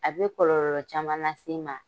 A bɛ kɔlɔlɔ caman lase i ma.